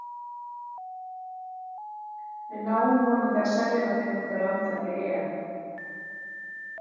Við náum vonandi að selja hana til nokkurra landa fyrir EM.